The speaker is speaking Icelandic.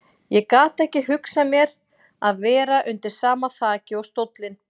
Ég gat ekki hugsað mér að vera undir sama þaki og stóllinn.